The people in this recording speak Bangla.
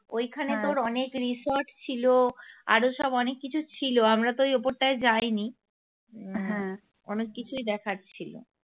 ওই খানে তোর অনেক resort ছিল আরো সব অনেক কিছু ছিল আমরা তো ওই ওপরটায় যাইনি হ্যাঁ অনেক কিছুই দেখার ছিল